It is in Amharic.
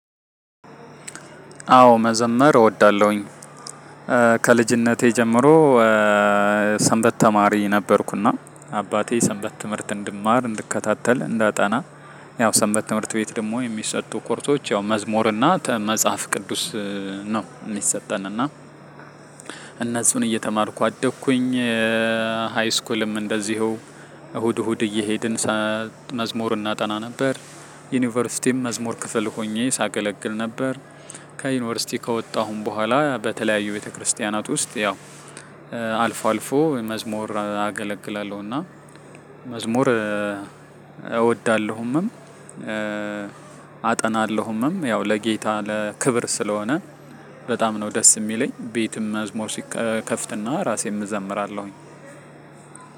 አዎ መዘመር እወዳለሁኝ። ከልጅነቴ ጀምሮ ሰንበት ተማሪ ነበርኩና። አባቴ ሰንበት ትምህርት እንድማር እንድከታተል እንዳጠና። ያው ሰንበት ትምህርት ቤት ደግሞ የሚሰጡ ኮርሶች ያው መዝሙር እና መጽሐፍ ቅዱስ ነው የሚሰጠን እና እነዚህን እየተማርኩ አደግኩኝ። ሃይስኩልም እንደዚሁ እሁድ እሁድ እየሄድን መዝሙር እናጠና ነበር። ዩኒቨርሲቲም መዝሙር ክፍል ሆኜ ሳገለግል ነበር። ከዩኒቨርሲቲ ከወጣሁም በኋላ በተለያዩ ቤተክርስቲያናት ውስጥ ያው አልፎ አልፎ መዝሙር አገለግላለሁ። እና መዝሙር እወዳለሁምም። አጠናለሁምም ያው ለጌታ ለክብር ስለሆነ በጣም ነው ደስ የሚለኝ። ቤትም መዝሙር ሲከፍትና ራሴን እዘምራለሁኝ።